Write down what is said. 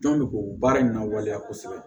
Jɔn bɛ k'o baara in na waleya kosɛbɛ